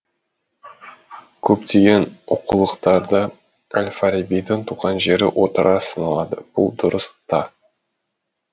көптеген оқулықтарда әл фарабидың туған жері отырар саналады бұл дұрыс та